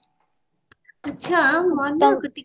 ଆଛା ମୋର ନା ଟିକେ